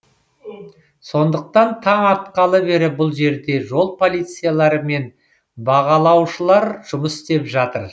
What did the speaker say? сондықтан таң атқалы бері бұл жерде жол полициялары мен бағалаушылар жұмыс істеп жатыр